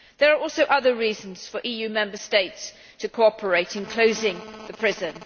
There are also other reasons for EU Member States to cooperate in closing the prison.